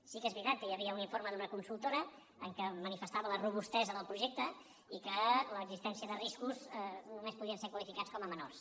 sí que és veritat que hi havia un informe d’una consultora en què manifestava la robustesa del projecte i que l’existència de riscos només podien ser qualificats com a menors